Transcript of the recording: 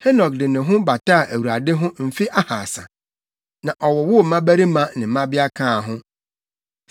Henok woo Metusela akyi no, Henok de ne ho bataa Awurade ho mfe ahaasa, na ɔwowoo mmabarima ne mmabea kaa ho.